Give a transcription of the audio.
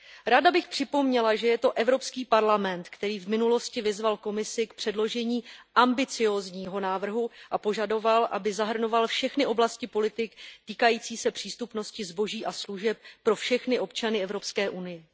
Ráda bych připomněla, že je to Evropský parlament, který v minulosti vyzval Komisi k předložení ambiciózního návrhu a požadoval, aby zahrnoval všechny oblasti politik týkajících se přístupnosti zboží a služeb pro všechny občany Evropské unie.